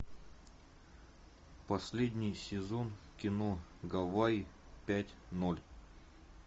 последний сезон кино гавайи пять ноль